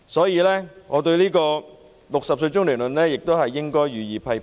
因此，我對 "60 歲中年論"亦予以批評。